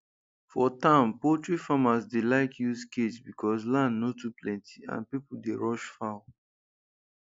for town poultry farmers dey like use cage because land no too plenty and people dey rush fowl